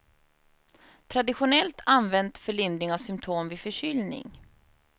Traditionellt använt för lindring av symtom vid förkylning.